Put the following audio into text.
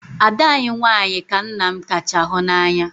Ada anyị nwanyị ka nna m kacha hụ n'anya.